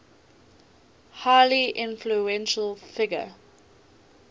highly influential figure